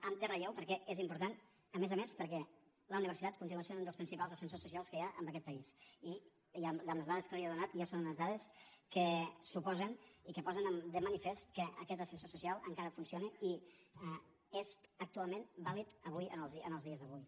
en relleu perquè és important a més a més perquè la universitat continua sent un dels principals ascensors socials que hi ha en aquest país i les dades que li he donat ja són unes dades que suposen i que posen de manifest que aquest ascensor social encara funciona i és actualment vàlid avui en els dies d’avui